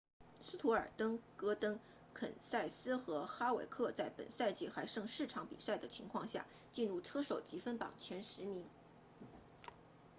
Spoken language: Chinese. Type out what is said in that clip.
斯图尔特戈登肯塞斯和哈维克在本赛季还剩四场比赛的情况下进入车手积分榜前十名